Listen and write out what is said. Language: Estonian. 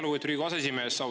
Lugupeetud Riigikogu aseesimees!